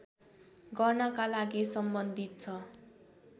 गर्नका लागि सम्बन्धित छ